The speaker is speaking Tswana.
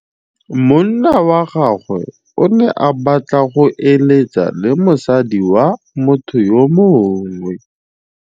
Monna wa gagwe o ne a batla go êlêtsa le mosadi wa motho yo mongwe.